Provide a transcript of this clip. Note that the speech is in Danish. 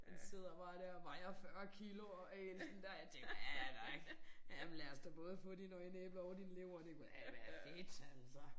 Han sidder bare dér og vejer 40 kilo og æh sådan der jeg tænker ja ja ja men lad os da både få dine øjeæbler og din lever det kunne da være fedt altså